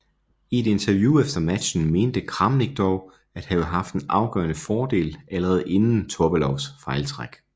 I et interview efter matchen mente Kramnik dog at have haft en afgørende fordel allerede inden Topalovs fejltræk